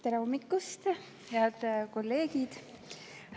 Tere hommikust, head kolleegid!